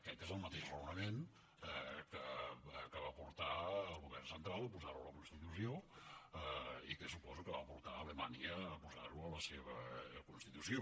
aquest és el mateix raonament que va portar el govern central a posar ho a la constitució i que suposo que va portar alemanya a posar ho en la seva constitució